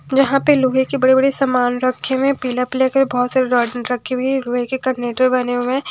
यहां पे लोहे की बड़ी बड़ी सामान रखें में पीला पीला के बहोत सारे रॉड रखी हुई है लोहे के करनेटर पर बने हुए हैं।